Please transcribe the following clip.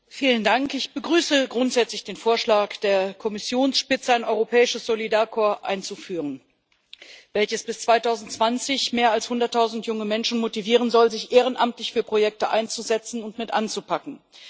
Herr Präsident! Ich begrüße grundsätzlich den Vorschlag der Kommissionsspitze, ein Europäisches Solidaritätskorps einzuführen, welches bis 2020 mehr als hunderttausend junge Menschen motivieren soll, sich ehrenamtlich für Projekte einzusetzen und mit anzupacken.